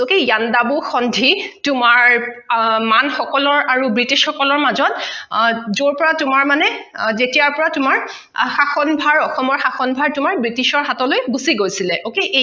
তোমাৰ মান সকলৰ আৰু ব্ৰিটিছসকলৰ মাজত অ যৰ পৰা তোমাৰ মানে যেতিয়াৰ পৰা তোমাৰ শাসন ভাৰ অসমৰ শাসন ভাৰ তোমাৰ ব্ৰিটিছৰ হাতলৈ গোচি গৈছিলে okay